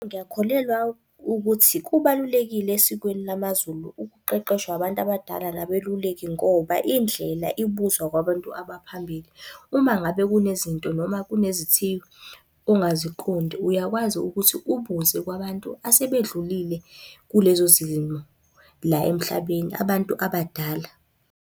Ngiyakholelwa ukuthi kubalulekile esikweni lamaZulu ukuqeqeshwa abantu abadala nabeluleki ngoba indlela ibuzwa kwabantu abaphambili. Uma ngabe kunezinto noma kunezithiyo ongaziqondi, uyakwazi ukuthi ubuze kwabantu asebedlulile kulezo zimo la emhlabeni, abantu abadala.